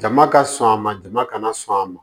Jama ka sɔn a ma jama kana sɔn a ma